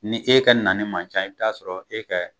Ni e ka na ni man ca i bi t'a sɔrɔ e ka